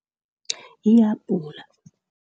Lihabhula.